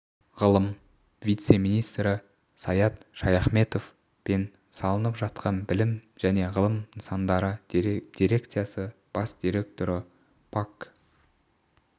ғылым вице-министрі саят шаяхметов пен салынып жатқан білім және ғылым нысандары дирекциясы бас директоры пак